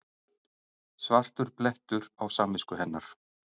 Svartur blettur á samvisku hennar.